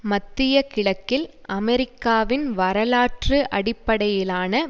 மத்திய கிழக்கில் அமெரிக்காவின் வரலாற்று அடிப்படையிலான